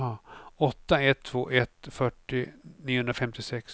åtta ett två ett fyrtio niohundrafemtiosex